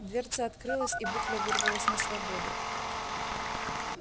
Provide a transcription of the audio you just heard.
дверца открылась и букля вырвалась на свободу